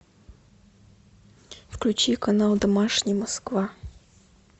включи канал домашний москва